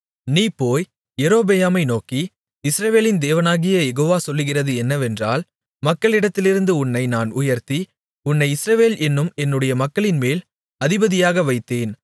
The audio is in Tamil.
நீ போய் யெரொபெயாமை நோக்கி இஸ்ரவேலின் தேவனாகிய யெகோவா சொல்லுகிறது என்னவென்றால் மக்களிடத்திலிருந்து உன்னை நான் உயர்த்தி உன்னை இஸ்ரவேல் என்னும் என்னுடைய மக்களின்மேல் அதிபதியாக வைத்தேன்